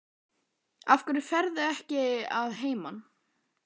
Af hverju ferðu ekki að heiman?